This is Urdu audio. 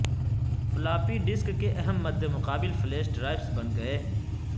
فلاپی ڈسک کے اہم مدمقابل فلیش ڈرائیوز بن گئے ہیں